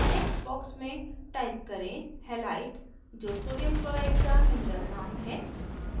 text box में type करें halite जो sodium chloride का mineral name है